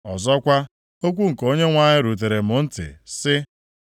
Ọzọkwa, okwu nke Onyenwe anyị rutere m ntị, sị,